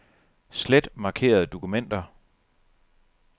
Slet markerede dokumenter.